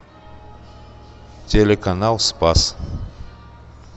телеканал спас